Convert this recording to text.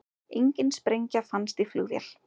Engin sprengja fannst í flugvél